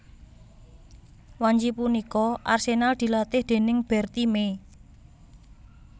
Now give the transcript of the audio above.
Wanci punika Arsenal dilatih déning Bertie Mee